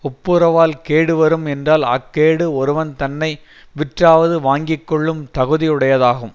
ஒப்புரவால் கேடு வரும் என்றால் அக் கேடு ஒருவன் தன்னை விற்றாவது வாங்கிக்கொள்ளும் தகுதி உடையதாகும்